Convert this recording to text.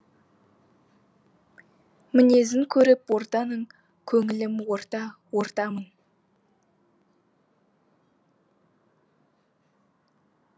мінезін көріп ортаның көңілім орта ортамын